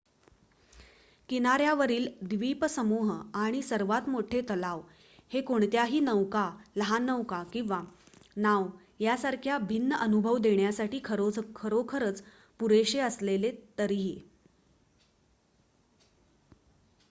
किनाऱ्यावरील द्वीपसमूह आणि सर्वात मोठे तलाव हे कोणत्याही नौका लहान नौका किंवा नाव यासारखा भिन्न अनुभव देण्यासाठी खरोखरच पुरेशे असले तरीही